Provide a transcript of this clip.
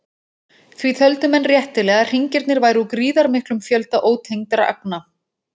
Því töldu menn réttilega að hringirnir væru úr gríðarmiklum fjölda ótengdra agna.